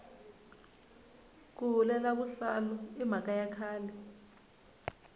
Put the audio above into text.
ku hulela vuhlalu i mhaka ya khale